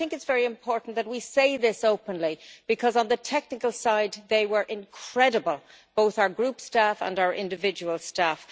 I think it is very important that we say this openly, because on the technical side they were incredible both our Group staff and our individual staff.